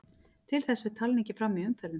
Til þess fer talningin fram í umferðum.